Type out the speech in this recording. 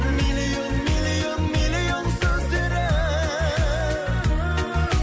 миллион миллион миллион сөздері